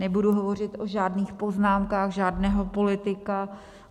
Nebudu hovořit o žádných poznámkách žádného politika.